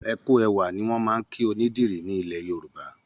Ẹ kú ẹwà ó ni wọ́n máa ń kí onídìrí nílẹ̀ Yorùbá.